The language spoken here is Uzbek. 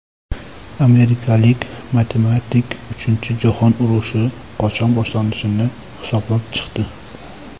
Amerikalik matematik uchinchi jahon urushi qachon boshlanishini hisoblab chiqdi.